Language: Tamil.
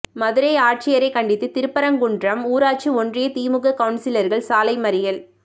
மதுரை ஆட்சியரை கண்டித்து திருப்பரங்குன்றம் ஊராட்சி ஒன்றிய திமுக கவுன்சிலர்கள் சாலை மறியல்